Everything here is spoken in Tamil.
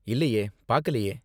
இல்லையே, பாக்கலையே.